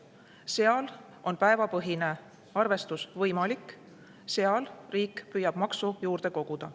Seal on päevapõhine arvestus võimalik, seal riik püüab maksu juurde koguda.